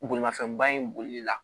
Bolimafɛnbaa in bolila